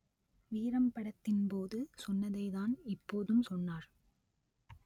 வீரம் படத்தின் போது சொன்னதைதான் இப்போதும் சொன்னார்